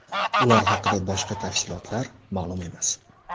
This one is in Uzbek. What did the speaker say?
Ular haqida boshqa tafsilotlar ma’lum emas.